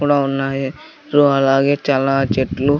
ఇక్కడ ఉన్నాయి రు అలాగే చాలా చెట్లు.